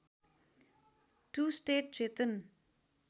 to state Chetan